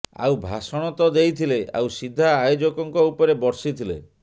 ଆଉ ଭାଷଣ ତ ଦେଇଥିଲେ ଆଉ ସିଧା ଆୟୋଜକଙ୍କ ଉପରେ ବର୍ଷିଥିଲେ